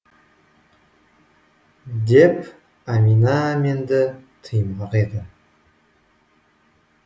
деп әмина әменді тыймақ еді